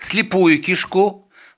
слепую кишку